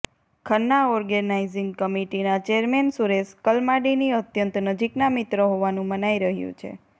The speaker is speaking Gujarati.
ખન્ના ઓર્ગેનાઈઝીંગ કમિટીના ચેરમેન સુરેશ કલમાડીની અત્યંત નજીકના મિત્ર હોવાનું મનાઈ રહ્યું છે